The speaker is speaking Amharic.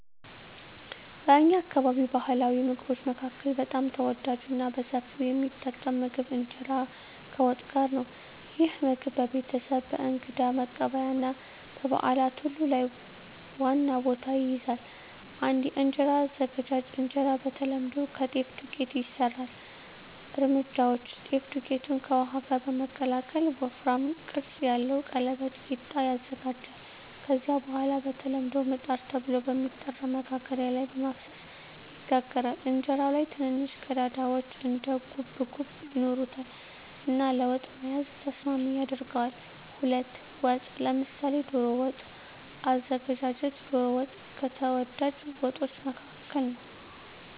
በእኛ አካባቢ ባሕላዊ ምግቦች መካከል በጣም ተወዳጅና በሰፊው የሚጠቀም ምግብ እንጀራ ከወጥ ጋር ነው። ይህ ምግብ በቤተሰብ፣ በእንግዳ መቀበያ እና በበዓላት ሁሉ ላይ ዋና ቦታ ይይዛል። 1. የእንጀራ አዘገጃጀት እንጀራ በተለምዶ ከጤፍ ዱቄት ይሰራል። እርምጃዎች: ጤፍ ዱቄትን ከውሃ ጋር በመቀላቀል ወፍራም ቅርጽ ያለው ቀለበት (ቂጣ) ይዘጋጃል። ከዚያ በኋላ በተለምዶ “ምጣድ” ተብሎ በሚጠራ መጋገሪያ ላይ በመፍሰስ ይጋገራል። እንጀራው ላይ ትንንሽ ቀዳዳዎች (እንደ ጉብጉብ) ይኖሩታል እና ለወጥ መያዝ ተስማሚ ያደርገዋል። 2. ወጥ (ምሳሌ ዶሮ ወጥ) አዘገጃጀት ዶሮ ወጥ ከተወዳጅ ወጦች መካከል ነው።